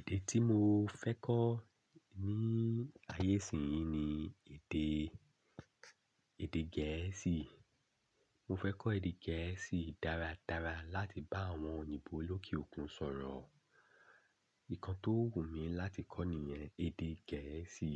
Èdè tí mo fẹ́ kọ́ ní ayé isin yìí ni èdè, èdè Gẹ̀ẹ́sì. Mo fẹ́ kọ́ èdè Gẹ̀ẹ́sì dáradára láti bá àwọn òyìnbó lókè òkun sọ̀rọ̀. Nkan tó wù mí láti kọ́ nìyẹn èdè Gẹ̀ẹ́sì.